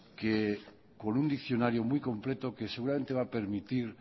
que con un diccionario muy completo que seguramente va a permitir